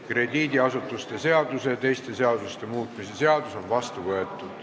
Krediidiasutuste seaduse ja teiste seaduste muutmise seadus on vastu võetud.